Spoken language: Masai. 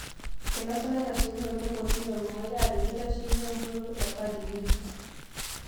Einosa laiteshikinok le kotini olmumai aajo keitasheyie emputoto e Khadi ng'ejuk